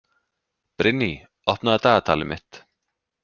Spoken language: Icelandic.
Brynný, opnaðu dagatalið mitt.